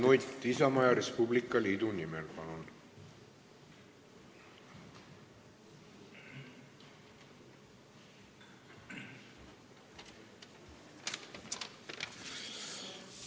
Mart Nutt Isamaa ja Res Publica Liidu nimel, palun!